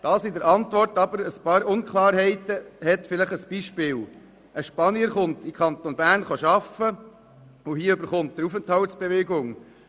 Ein Beispiel für die Unklarheiten in der Antwort: Ein Spanier kommt in den Kanton Bern arbeiten, er bekommt eine Aufenthaltsbewilligung.